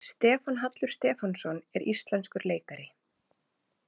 Stefán Hallur Stefánsson er íslenskur leikari.